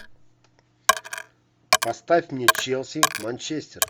поставь мне челси манчестер